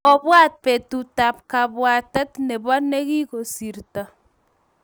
Obwat betut tab kabwatet nebo nigigosirto